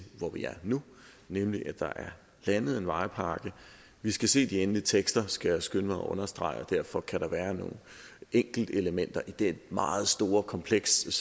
hvor vi er nu nemlig at der er landet en vejpakke vi skal se de endelige tekster skal jeg skynde mig at understrege og derfor kan der være nogle enkeltelementer i det meget store kompleks